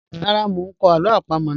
Rara, mo n kọ alo apamo naa.